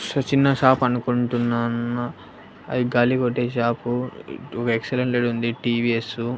ష చిన్న షాప్ అనుకుంటున్నాన అది గాలి కొట్టే షాప్ ఎక్సలెంట్ లేడీ ఉంది టీవీఎస్ .